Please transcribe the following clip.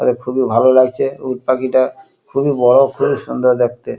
এতে খুবই ভালো লাগছে উটপাখিটা খুবই বড় খুবই সুন্দর দেখতে।